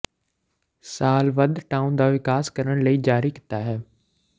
ਸਾਲ ਵੱਧ ਟਾਉਨ ਦਾ ਵਿਕਾਸ ਕਰਨ ਲਈ ਜਾਰੀ ਕੀਤਾ ਹੈ